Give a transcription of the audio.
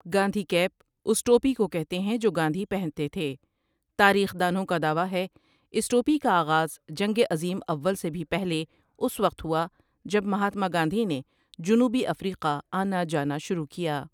Gandhi cap اس ٹوپی کو کہتے ہیں جو گاندھی پہنتے تھے تاریخ دانوں کا دعویٰ ہے اس ٹوپی کا آغاز جنگ عظیم اوًل سے بھی پہلے اس وقت ہوا جب مہاتما گاندھی نے جنوبی افریقہ آنا جانا شروع کیا ۔